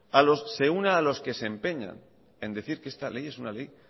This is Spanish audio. se una a los que se empeñan en decir que esta ley es una ley